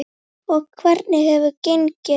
Og hvernig hefur gengið?